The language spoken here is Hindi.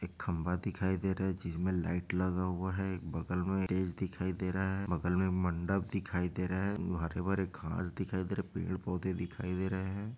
एक खंभा दिखाई दे रहा है जिसमे लाइट लगा हुआ है एक बगल में दिखाई दे रहा हैं बगल में मंडप दिखाई दे रहा है हरे- भरे घास दिखाई दे रहा है पेड़ -पौधे दिखाई दे रहे है ।